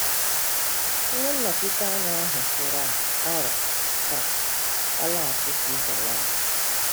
Onye nnọchite anya ahụ tụrụ aro ka ọ laghachi Switzalandi.